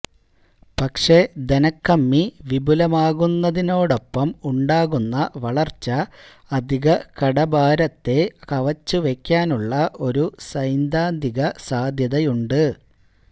പക്ഷേ ധനക്കമ്മി വിപുലമാകുന്നതോടൊപ്പം ഉണ്ടാക്കുന്ന വളര്ച്ച അധികകടഭാരത്തെ കവച്ചുവെക്കാനുള്ള ഒരു സൈദ്ധാന്തിക സാധ്യതയുണ്ട്